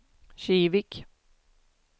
Kivik